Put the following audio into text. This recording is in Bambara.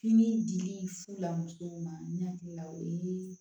Fini dili fula musow ma ne hakili la o ye